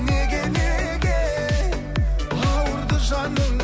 неге неге ауырды жаның